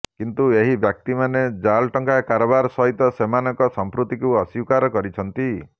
କିନ୍ତୁ ଏହି ବ୍ୟକ୍ତିମାନେ ଜାଲ ଟଙ୍କା କାରବାର ସହିତ ସେମାନଙ୍କ ସମ୍ପୃକ୍ତିକୁ ଅସ୍ବୀକାର କରିଛନ୍ତି